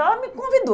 Ela me convidou.